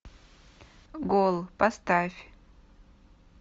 гол поставь